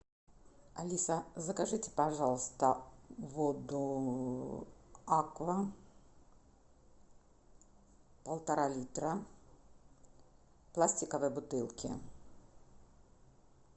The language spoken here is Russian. алиса закажите пожалуйста воду аква полтора литра в пластиковой бутылке